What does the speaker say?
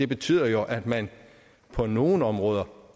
betyder jo at man på nogle områder